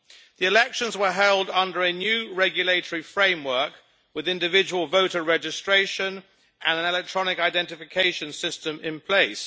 The elections were held under a new regulatory framework with individual voter registration and an electronic identification system in place.